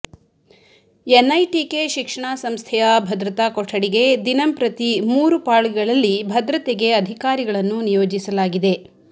NITK ಶಿಕ್ಷಣಾ ಸಂಸ್ಥೆಯ ಭದ್ರತಾ ಕೊಠಡಿಗೆ ದಿನಂಪ್ರತಿ ಮೂರು ಪಾಳಿಗಳಲ್ಲಿ ಭದ್ರತೆಗೆ ಅಧಿಕಾರಿಗಳನ್ನು ನಿಯೋಜಿಸಲಾಗಿದೆ